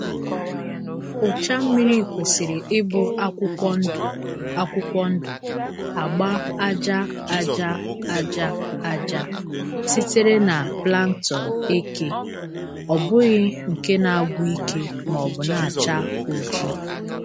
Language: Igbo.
Ụcha mmiri kwesịrị ịbụ akwụkwọ ndụ akwụkwọ ndụ-agba aja aja aja aja sitere na plankton eke, ọ bụghị nke na-agwụ ike maọbụ na-acha oji.